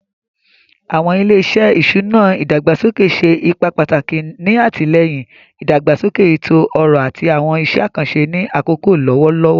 Awọn ile-iṣẹ iṣuna idagbasoke ṣe ipa pataki ni atilẹyin idagbasoke eto-ọrọ ati awọn iṣẹ akanṣe ni akoko lọwọlọwọ.